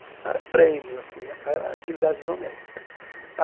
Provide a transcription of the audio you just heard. Não eram prêmios assim né, era utilidades doméstica.